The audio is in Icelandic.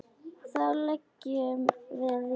Þá leggjum við í hann.